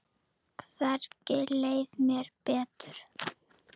Hvergi leið mér betur.